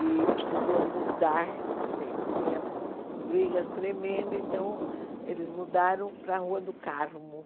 E precisou mudar, porque tinha brigas tremendas, então eles mudaram para a Rua do Carmo.